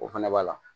O fɛnɛ b'a la